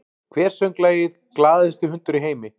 Hver söng lagið “Glaðasti hundur í heimi”?